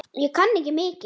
Ég kann ekki mikið.